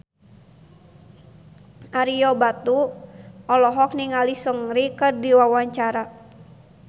Ario Batu olohok ningali Seungri keur diwawancara